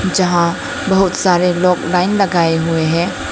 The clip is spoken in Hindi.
जहां बहुत सारे लोग लाइन लगाए हुए हैं।